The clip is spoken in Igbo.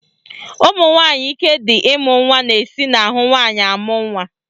Ụmụnwanyị ike dị ịmụ nwa na-esi n'ahụ nwaanyị amụ nwa